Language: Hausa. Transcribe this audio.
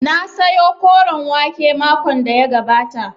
Na sayo koren wake makon da ya gabata